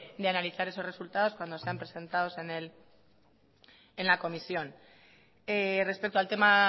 de analizar esos resultados cuando sean presentados en la comisión respecto al tema